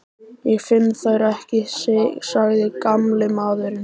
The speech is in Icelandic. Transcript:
Ég finn þær ekki sagði gamli maðurinn.